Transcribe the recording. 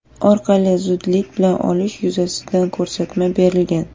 orqali zudlik bilan olish yuzasidan ko‘rsatma berilgan.